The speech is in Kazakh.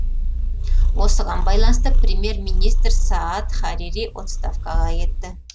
осыған байланысты премьер министр саад харири отставкаға кетті